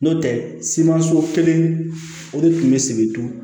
N'o tɛ simanso kelen o de tun bɛ sibiri